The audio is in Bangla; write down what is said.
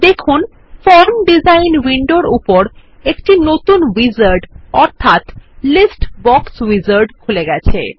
দেখুন ফর্ম ডিজাইন উইন্ডোর উপর একটি নতুন উইজার্ড অর্থাৎ লিস্ট বক্স উইজার্ড খুলে গেছে